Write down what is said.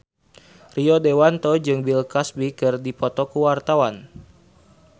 Rio Dewanto jeung Bill Cosby keur dipoto ku wartawan